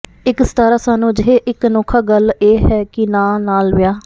ਇੱਕ ਸਿਤਾਰਾ ਸਾਨੂੰ ਅਜਿਹੇ ਇੱਕ ਅਨੋਖਾ ਗੱਲ ਇਹ ਹੈ ਕਿ ਨਾ ਨਾਲ ਵਿਆਹ